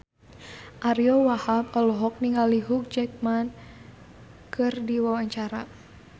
Ariyo Wahab olohok ningali Hugh Jackman keur diwawancara